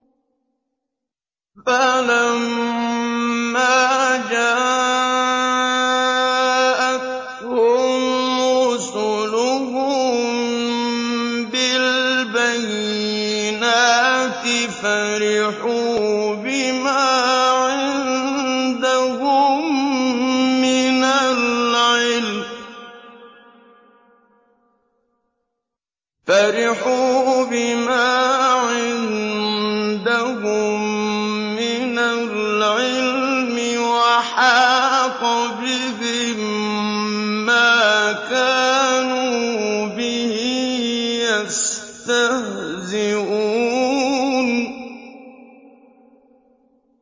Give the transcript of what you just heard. فَلَمَّا جَاءَتْهُمْ رُسُلُهُم بِالْبَيِّنَاتِ فَرِحُوا بِمَا عِندَهُم مِّنَ الْعِلْمِ وَحَاقَ بِهِم مَّا كَانُوا بِهِ يَسْتَهْزِئُونَ